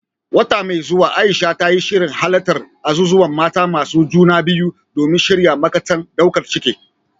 A wata mai zuwa, Aisha ta yi shirin halartar azuzuwan mata masu juna biyu domin shirya matakan daukar ciki.